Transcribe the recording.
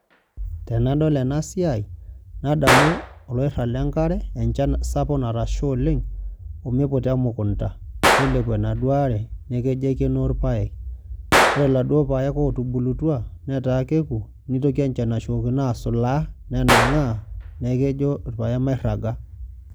Tenadol enasiai nadolu enkiragata enkare, enchan sapuk natasha oleng omita emukunda nilepu enaduo aare neaku kejo aikenoo irpaek ore laduo paek otubulutua nitoki enchan aitoki asujaa anangaa neaku kejo irpaek mairaga.